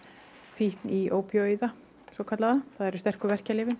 fíkn í ópíóíða það eru sterku verkjalyfin